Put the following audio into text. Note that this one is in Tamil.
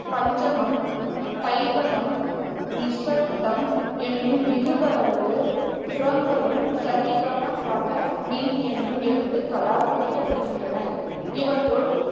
பஞ்சமம், தைவதம், நிசத்தம் என்னும் இலுவேழு சுரங்களும் ச ரி க ம ப த நி என்னும் எழுத்துக்களால் குறிக்கப்படுகின்றன. இவற்றுள்